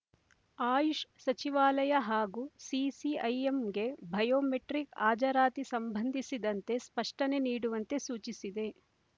ಆಯುಷ್ ಸಚಿವಾಲಯ ಹಾಗೂ ಸಿಸಿಐಎಂಗೆ ಬಯೋಮೆಟ್ರಿಕ್ ಹಾಜರಾತಿ ಸಂಬಂಧಿಸಿದಂತೆ ಸ್ಪಷ್ಟನೆ ನೀಡುವಂತೆ ಸೂಚಿಸಿದೆ